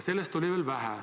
Sellest oli veel vähe.